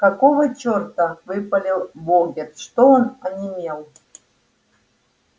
какого черта выпалил богерт что он онемел